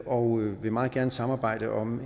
og vil meget gerne samarbejde om en